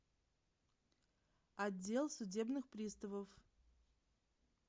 отдел судебных приставов